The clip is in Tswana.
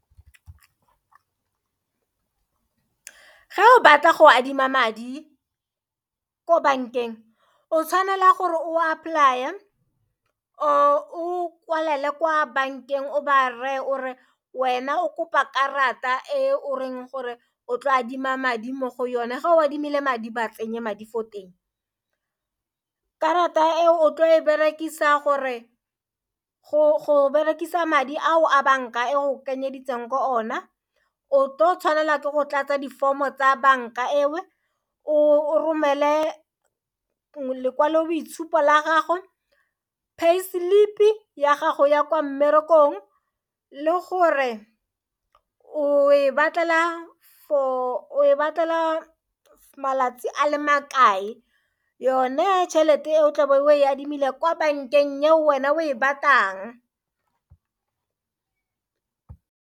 Ga o batla go adima madi ko bankeng o tshwanela gore o a apply-e, or-re o kwalela kwa bankeng o ba reye o re wena o kopa karata e o reng gore o tlo adima madi mo go yone ga o adimile madi ba tsenye madi fo teng. Karata e o tlo e berekisa go berekisa madi ao a banka e o kenye editseng ko ona o tshwanela ke go tlatsa di-form-o tsa banka eo, o romele lekwalo boitshupo la gago, pay slip ya gago ya kwa mmerekong le gore o batlela malatsi a le makae yone tšhelete e o tlabe o e adimile kwa bankeng ya wena o e batlang.